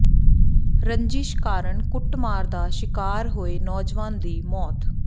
ਰੰਜ਼ਿਸ਼ ਕਾਰਨ ਕੁੱਟਮਾਰ ਦਾ ਸ਼ਿਕਾਰ ਹੋਏ ਨੌਜਵਾਨ ਦੀ ਮੌਤ